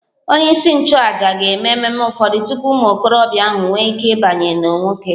Onyeisi nchụàjà ga-eme ememe ụfọdụ tupu ụmụ okorobịa ahụ enwee ike ịbanye n'nwoke